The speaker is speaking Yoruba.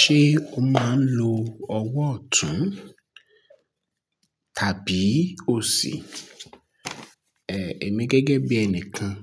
Ṣé o máa ń lo ọwọ́ ọ̀tún tàbí òsì? Èmi gẹ́gẹ́ bí ẹnìkan,